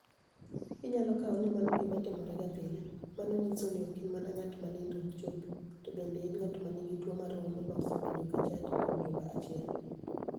Iniyalo kawo nii mano gima timorega pile ,mano niyiso nii ok ini mania nig'at ma niinido ok chopi, to benide eni nig'at ma niigi tuwo mar holo ma osebedo ka chanidi kuom juma achiel.